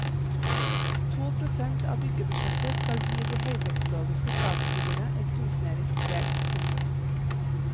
To prosent av byggebudsjettet skal gi de høyteknologiske statsbyggene et kunstnerisk preg. punktum